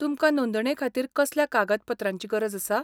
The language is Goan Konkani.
तुमकां नोंदणेखातीर कसल्या कागद पत्रांची गरज आसा?